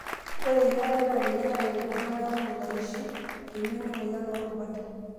Ore eyiang'are naa ninye naret iltungana kumok aishu emion emoyian oorubat.